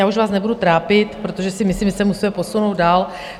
Já už vás nebudu trápit, protože si myslím, že se musíme posunout dál.